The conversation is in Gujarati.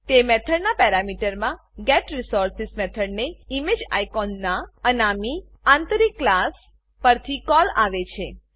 તે મેથડનાં પેરામીટરમાં getResource મેથડને ઇમેજિકોન નાં અનામી આંતરિક ક્લાસ પરથી કોલ આવે છે